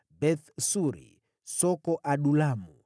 Beth-Suri, Soko, Adulamu,